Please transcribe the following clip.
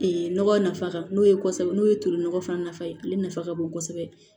nɔgɔ nafa ka n'o ye kosɛbɛ n'o ye tulu nɔgɔ fana nafa ye ale nafa ka bon kosɛbɛ